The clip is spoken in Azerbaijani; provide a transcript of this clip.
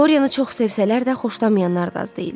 Dorianı çox sevsələr də xoşlamayanlar da az deyildi.